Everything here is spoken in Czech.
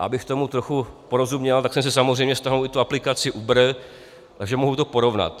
A abych tomu trochu porozuměl, tak jsem si samozřejmě stáhl i tu aplikaci Uber, takže mohu to porovnat.